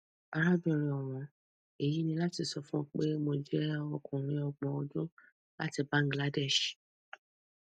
arábìnrin ọwọn èyí ni láti sọ fún ọ pé mo jẹ ọkùnrin ọgbọn ọdún láti bangladesh